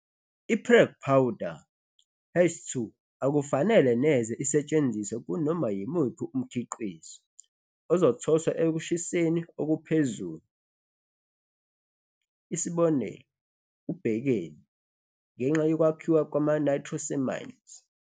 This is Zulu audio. I-Prague powder hash 2 akufanele neze isetshenziswe kunoma yimuphi umkhiqizo ozothoswa ekushiseni okuphezulu, isibonelo ubhekeni, ngenxa yokwakhiwa kwama-nitrosamines.